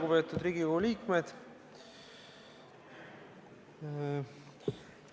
Lugupeetud Riigikogu liikmed!